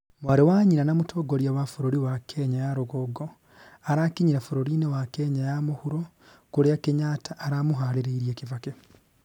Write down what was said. mwarĩ wa nyina na mũtongoria wa bũrũri wa Kenya ya rũgongo, arakinyire bũrũri-nĩ wa Kenya ya mũhuro kũrĩa Kenyatta aramũharĩrĩirie Kibaki